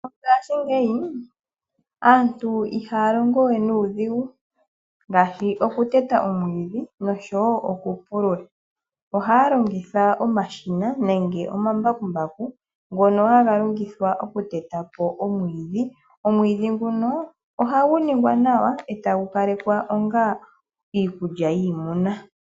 Mongaashingeyi aantu ihaya longowe nuudhigu ngaashi oku teta omwiidhi nenge oku pulula. Ohaya longitha omashina nenge omambakumbaku ngono haga longithwa oku teta po omwiidhi. Omwiidhi nguno ohagu ningwa nawa, etagu opalekwa onga iikulya yiimuna.